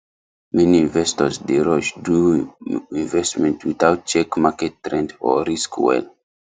many investors dey rush do investment without check market trend or risk well